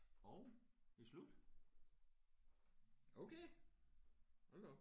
Hov det er slut. Okay hold da op